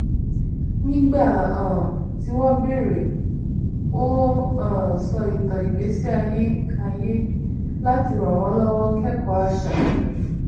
nígbà um tí wọn béèrè ó um sọ ìtàn ìgbésí ayé ayé láti ràn wọn lọwọ kẹkọọ àṣà